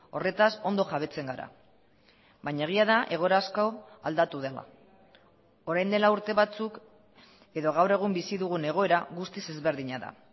horretaz ondo jabetzen gara baina egia da egoera asko aldatu dela orain dela urte batzuk edo gaur egun bizi dugun egoera guztiz ezberdina da